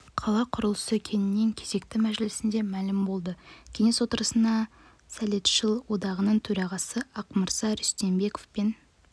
қала құрылысы кеңесінің кезекті мәжілісінде мәлім болды кеңес отырысына сәлетшілер одағының төрағасы ақмырза рүстембеков пен